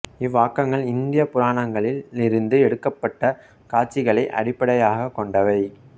இவ்வாக்கங்கள் இந்தியப் புராணங்களில் இருந்து எடுக்கப்பட்ட காட்சிகளை அடிப்படையாகக் கொண்டவை